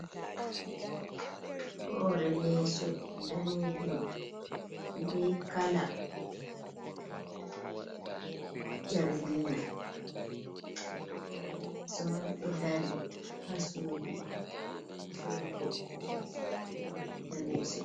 Hore leeso danejum, be kala jargina. Hore leso man ɗo dari ha sudu sorugo leeso, ɓe ɗo we’ita leeso.